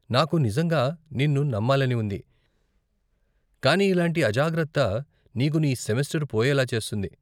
నాకు నిజంగా నిన్ను నమ్మాలని ఉంది, కానీ ఇలాంటి అజాగ్రత్త నీకు నీ సెమెస్టరు పోయేలా చేస్తుంది.